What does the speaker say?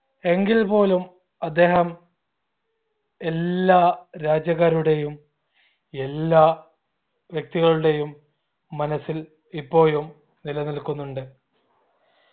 എങ്കിൽ പോലും അദ്ദേഹം എല്ലാ രാജ്യക്കാരുടെയും എല്ലാ വ്യക്തികളുടെയും മനസ്സിൽ ഇപ്പോയും നിലനിൽക്കുന്നുണ്ട്